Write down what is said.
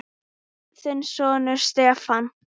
Þinn sonur, Stefán.